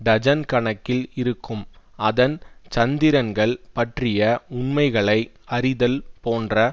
dozen கணக்கில் இருக்கும் அதன் சந்திரன்கள் பற்றிய உண்மைகளை அறிதல் போன்ற